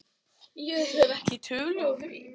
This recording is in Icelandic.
Ég hef ekki tölu á því.